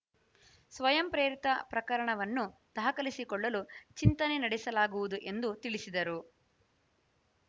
ಸ್ವಯಂ ಪ್ರೇರಿತ ಪ್ರಕರಣವನ್ನು ದಾಖಲಿಸಿಕೊಳ್ಳಲು ಚಿಂತನೆ ನಡೆಸಲಾಗುವುದು ಎಂದು ತಿಳಿಸಿದರು